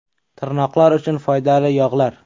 Tirnoqlar uchun foydali yog‘lar.